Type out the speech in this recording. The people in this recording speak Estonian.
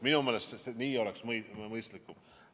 Minu meelest see oleks mõistlikum.